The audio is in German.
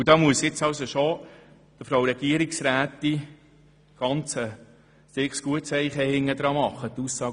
Ich muss der Frau Regierungsrätin ein Kompliment machen zu ihrer Aussage.